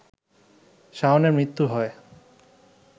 শাওনের মৃত্যু হয়